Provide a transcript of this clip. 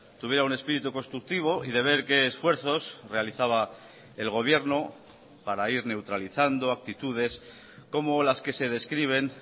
tuviera un espíritu constructivo y de ver qué esfuerzos realizaba el gobierno para ir neutralizando actitudes como las que se describen